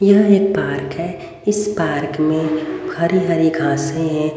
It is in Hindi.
यह एक पार्क है इस पार्क में हरी हरी घासें हैं।